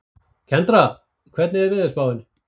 Kendra, hvernig er veðurspáin?